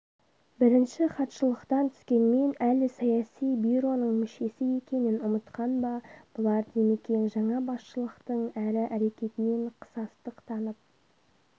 бірінші хатшылықтан түскенмен әлі саяси бюроның мүшесі екенін ұмытқан ба бұлар димекең жаңа басшылықтың әрі әрекетінен қысастық танып